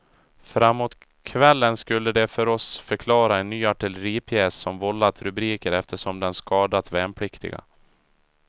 Framåt kvällen skulle de för oss förklara en ny artilleripjäs som vållat rubriker eftersom den skadat värnpliktiga.